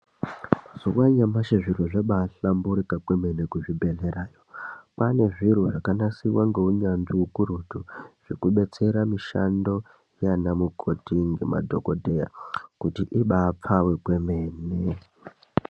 Mazuwa anyamashi zviro zvambaahlamburuka kwemene kuzvibhedherayo kwaanezviro zvanasirwa ngeunyanzvi ukurutu zvekubetsera mishando yaana mukoti nemadhokodheya kuti ibaapfawe kwemene.